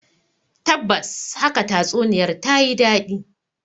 Tabbas haka tatsuniyar ta yi dadi.